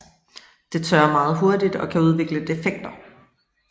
Det tørrer meget hurtigt og kan udvikle defekter